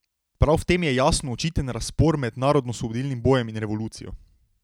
Prav v tem je jasno očiten razpor med narodnoosvobodilnim bojem in revolucijo.